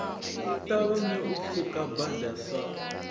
ṱavhanye u pfuka bada sa